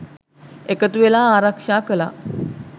එකතු වෙලා ආරක්ෂා කළා.